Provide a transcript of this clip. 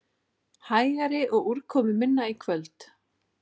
Hægari og úrkomuminna í kvöld